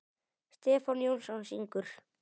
Stefán Jónsson syngur.